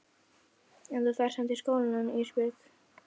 En þú ferð samt í skólann Ísbjörg.